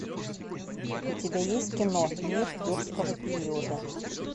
у тебя есть кино мир юрского периода